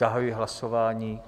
Zahajuji hlasování.